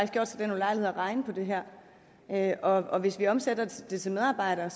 gjort sig den ulejlighed at regne på det her her og hvis vi omsætter det til medarbejdere